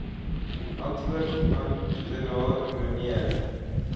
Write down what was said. antwoord amptenaar mnr